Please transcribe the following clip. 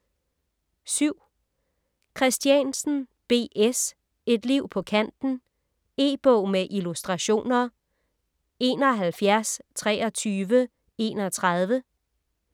Christiansen, B. S.: Et liv på kanten E-bog med illustrationer 712331